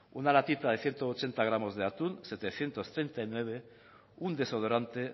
una latita de ciento ochenta gramos de atún setecientos treinta y nueve un desodorante